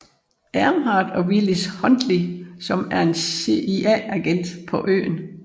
Earnhardt og Willis Huntley som er en CIA agent på øen